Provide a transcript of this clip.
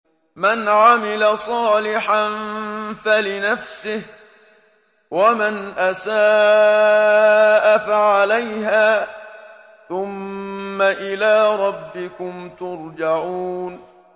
مَنْ عَمِلَ صَالِحًا فَلِنَفْسِهِ ۖ وَمَنْ أَسَاءَ فَعَلَيْهَا ۖ ثُمَّ إِلَىٰ رَبِّكُمْ تُرْجَعُونَ